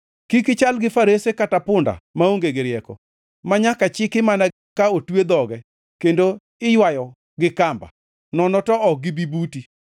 Kik ichal gi farese kata gi punda, maonge gi rieko, manyaka chiki mana ka otwe dhoge kendo iywayo gi kamba, nono to ok gibi buti.